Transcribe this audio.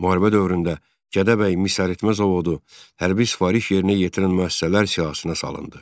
Müharibə dövründə Gədəbəy misəritmə zavodu hərbi sifariş yerinə yetirən müəssisələr siyahısına salındı.